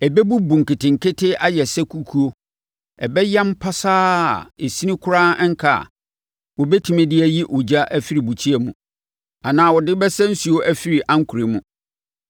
Ɛbɛbubu nketenkete ayɛ sɛ kukuo. Ɛbɛyam pasaa a esini koraa renka a wɔbɛtumi de ayi ogya afiri bukyia mu anaa wɔde bɛsa nsuo afiri ankorɛ mu.”